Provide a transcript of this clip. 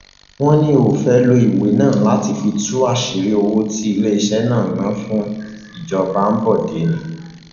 wọn ní ó fẹẹ lo ìwé náà láti fi tú àṣírí owó tí iléeṣẹ náà ná fún ìjọba ambode ni